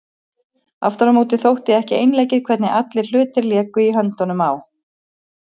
Aftur á móti þótti ekki einleikið hvernig allir hlutir léku í höndunum á